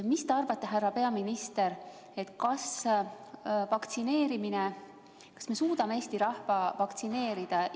Mis te arvate, härra peaminister, kas me suudame Eesti rahva vaktsineerida?